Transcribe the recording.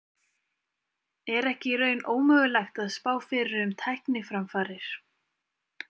Er ekki í raun ómögulegt að spá fyrir um tækniframfarir?